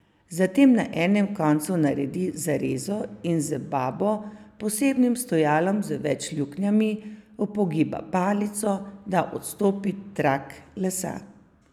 Zatem na enem koncu naredi zarezo in z babo, posebnim stojalom z več luknjami, upogiba palico, da odstopi trak lesa.